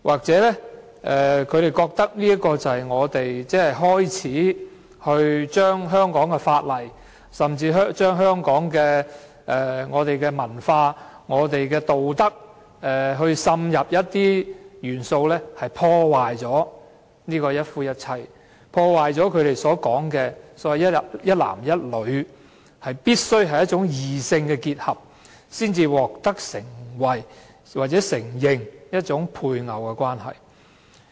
也許他們認為我們正開始在香港的法例甚至香港的文化和道德滲入一些元素，以破壞"一夫一妻"的制度及他們所謂"一男一女"、必須是異性的結合才能獲得承認的配偶關係。